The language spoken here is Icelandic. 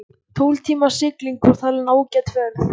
Tólf tíma sigling var talin ágæt ferð.